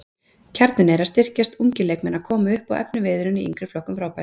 Kjarninn er að styrkjast, ungir leikmenn að koma upp og efniviðurinn í yngri flokkum frábær.